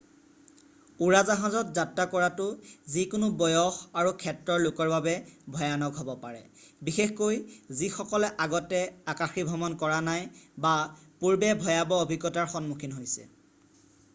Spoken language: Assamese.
উৰাজাহাজত যাত্ৰা কৰাটো যিকোনো বয়স আৰু ক্ষেত্ৰৰ লোকৰ বাবে ভয়ানক হ'ব পাৰে বিশেষকৈ যিসকলে আগতে আকাশীভ্ৰমণ কৰা নাই বা পূৰ্বে ভয়াবহ অভিজ্ঞতাৰ সন্মুখীন হৈছে